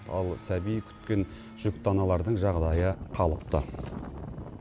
ал сәби күткен жүкті аналардың жағдайы қалыпты